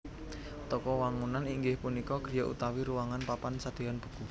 Toko wangunan inggih punika griya utawi ruwangan papan sadean buku